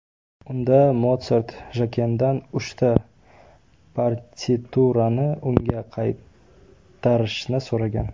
Unda Motsart Jakendan uchta partiturani unga qaytarishni so‘ragan.